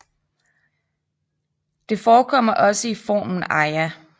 Det forekommer også i formen Aia